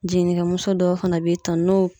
Jigininkɛmuso dɔw fana b'i tano